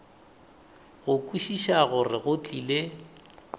go kwešiša gore go tlile